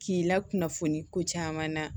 K'i la kunnafoni ko caman na